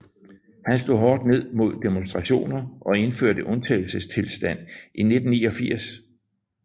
Han slog hårdt ned mod demonstrationer og indførte undtagelsestilstand i 1989